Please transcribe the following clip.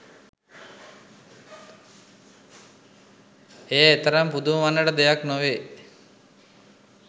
එය එතරම් පුදුම වන්නට දෙයක් නොවේ